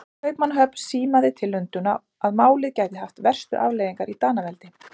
Kaupmannahöfn símaði til Lundúna, að málið gæti haft verstu afleiðingar í Danaveldi.